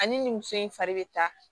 Ani nin muso in fari bɛ ta